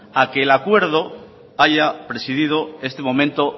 a que el acuerdo haya presidido este momento